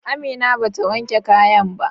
Amina bata wanke kayan ba.